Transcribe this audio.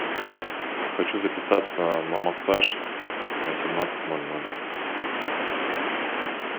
хочу записаться на массаж на семнадцать ноль ноль